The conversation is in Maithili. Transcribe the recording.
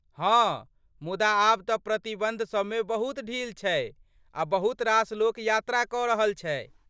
हँ, मुदा आब तँ प्रतिबन्ध सबमे बहुत ढील छै आ बहुत रास लोक यात्रा कऽ रहल छै।